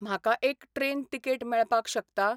म्हाका एक train ticket मेळपाक शकता ?